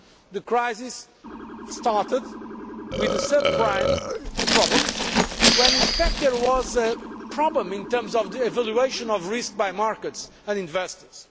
The crisis started with the subprime problems when in fact there was a problem in terms of the evaluation of risk by markets and investors.